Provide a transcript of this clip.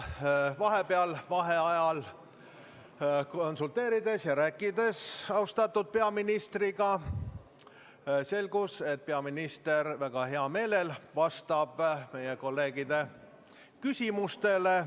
Vaheajal austatud peaministriga konsulteerides ja rääkides selgus, et peaminister väga heal meelel vastab meie kolleegide küsimustele.